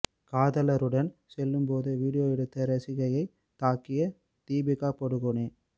காதலருடன் செல்லும் போது வீடியோ எடுத்த ரசிகையை தாக்கிய தீபிகா படுகோனே